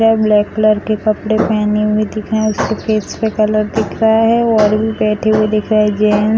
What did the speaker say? यह black colour के कपड़े पहने हुए दिख रहे है उसकी फैस पे कलर दिख रहा है और भी बैठे हुए दिख रहे है जेन --